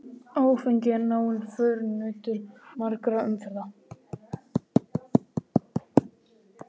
Áfengi er náinn förunautur margra í umferðinni.